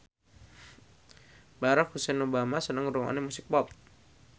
Barack Hussein Obama seneng ngrungokne musik pop